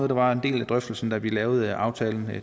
der var en del af drøftelsen da vi lavede aftalen